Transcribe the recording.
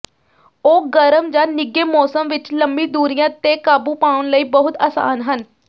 ਉਹ ਗਰਮ ਜਾਂ ਨਿੱਘੇ ਮੌਸਮ ਵਿੱਚ ਲੰਮੀ ਦੂਰੀਆਂ ਤੇ ਕਾਬੂ ਪਾਉਣ ਲਈ ਬਹੁਤ ਆਸਾਨ ਹਨ